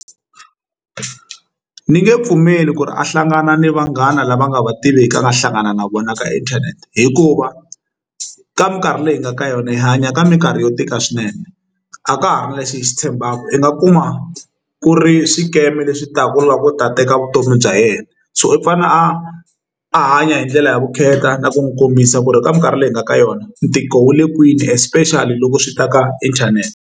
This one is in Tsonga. Ni nge pfumeli ku ri a hlangana ni vanghana lava a nga va tiviki a nga hlangana na vona ka inthanete hikuva ka minkarhi leyi hi nga ka yona hi hanya ka minkarhi yo tika swinene a ka ha ri na lexi hi xi tshembaka i nga kuma ku ri swikeme leswi taka loko u ta teka vutomi bya yena so u fanele a a hanya hi ndlela ya vukheta na ku n'wi kombisa ku ri ka mikarhi leyi hi nga ka yona ntiko wu le kwini especially loko swi ta ka internet.